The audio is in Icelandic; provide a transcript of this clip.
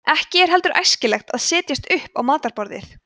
ekki er heldur æskilegt að setjast upp á matarborðið